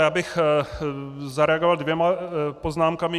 Já bych zareagoval dvěma poznámkami.